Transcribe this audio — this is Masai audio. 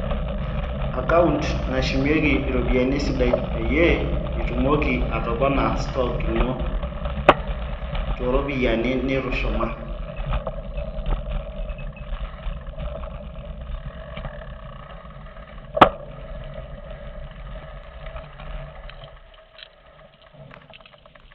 account nashumieki iropiyiani esidai peyiee ,itumoki atopona stoke ino too ropiyiani nitushuma